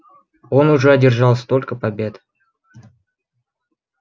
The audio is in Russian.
он уже одержал столько побед